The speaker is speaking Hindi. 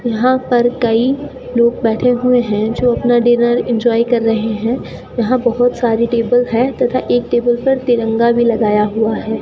यहां पर कई लोग बैठे हुए हैं जो अपना डिनर इंजॉय कर रहे हैं यहां बहुत सारी टेबल है तथा एक टेबल पर तिरंगा भी लगाया हुआ है।